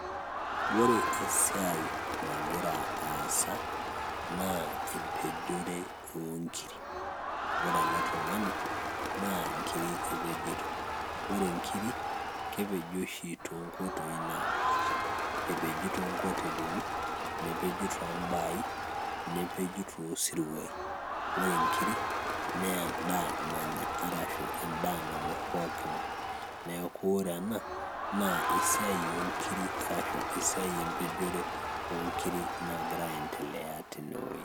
ore esiai nagira aasa naa empejore onkiri. Ore ele tung'ani naa inkiri epejito, ore inkiri kepeji oshi tonkoitoi napaasha epeji tonkotelini nepeji tombai nepeji tosiruai. Ore inkiri naa endaa nanya arashu endaa nang'uarr poki ng'ae neeku ore ena naa esiai onkiri arashu esiai empejore onkiri nagira aendelea tenewoi.